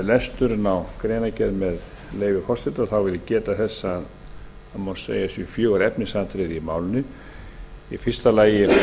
lesturinn á greinargerð með leyfi forseta vil ég geta þess að það má segja að það séu fjögur efnisatriði í málinu í fyrsta lagi